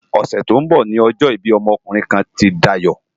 Òsè tó n bò ni òjò ibi òmò òkúrin kán ti Dayo